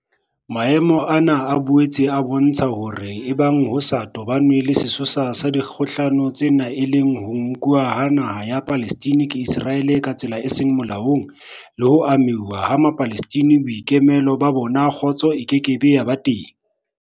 Maemo ana a boetse a bo ntsha hore ebang ho sa toba nwe le sesosa sa dikgohlano tsena e leng ho nkuwa ha naha ya Palestina ke Iseraele ka tsela e seng molaong, le ho amohuwa ha Mapalestina boikemelo ba bona, kgotso e ke ke ya ba teng.